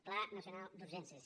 pla nacional d’urgències